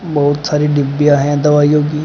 बहुत सारी डिब्बियां हैं दवाइयों की।